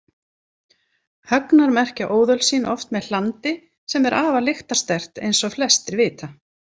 Högnar merkja óðöl sín oft með hlandi sem er afar lyktarsterkt eins og flestir vita.